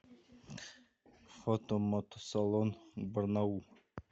фото мотосалон барнаул